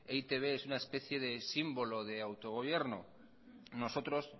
e i te be es una especie de símbolo de autogobierno nosotros